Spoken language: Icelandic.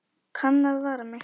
Kann að vara mig.